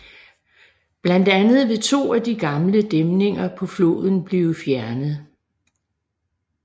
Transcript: Blandt andet vil to af de gamle dæmninger på floden blive fjernet